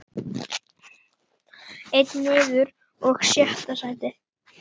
Einn niður og sjötta sætið.